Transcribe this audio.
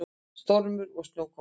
Stormur og snjókoma.